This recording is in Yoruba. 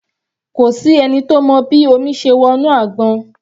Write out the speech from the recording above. Kò sí ẹni tó mọ bí omi ṣe wọ inú àgbọn.